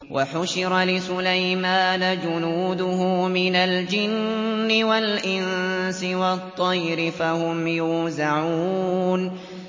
وَحُشِرَ لِسُلَيْمَانَ جُنُودُهُ مِنَ الْجِنِّ وَالْإِنسِ وَالطَّيْرِ فَهُمْ يُوزَعُونَ